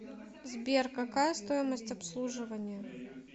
сбер какая стоимость обслуживания